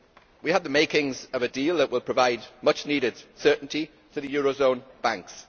We have the makings of a deal that would provide much needed certainty to the eurozone banks.